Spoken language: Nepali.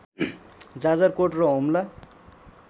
जाजरकोट र हुम्ला